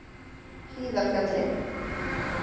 Hlíðarfjalli